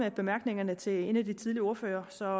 i bemærkningerne til en af de tidligere ordførere så